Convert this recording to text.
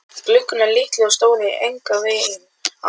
Gluggarnir litlir og stóðust enganveginn á.